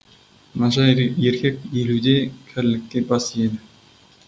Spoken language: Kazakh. нашар ер еркек елуде кәрілікке бас иеді